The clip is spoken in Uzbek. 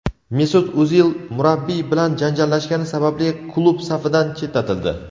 Mesut O‘zil murabbiy bilan janjallashgani sababli klub safidan chetlatildi;.